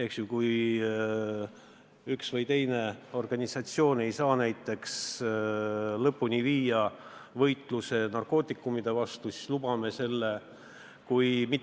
Kui näiteks üks või teine organisatsioon ei suuda lõpuni viia võitlust narkootikumide vastu, siis lubame narkootikumide kasutamise.